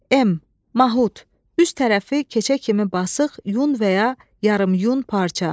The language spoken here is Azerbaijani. M, mahud, üst tərəfi keçə kimi basıq yun və ya yarım-yun parça.